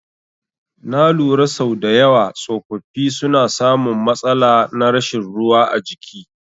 Na lura sau dayawa tsofaffi suna samun matsala na rashin ruwa a jiki